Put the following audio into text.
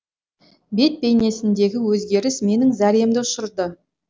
бет бейнесіндегі өзгеріс менің зәремді ұшырды